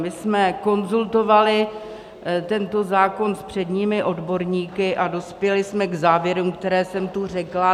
My jsme konzultovali tento zákon s předními odborníky a dospěli jsme k závěrům, které jsem tu řekla.